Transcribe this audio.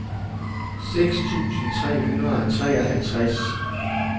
seks tusind tre hundrede og treoghalvtreds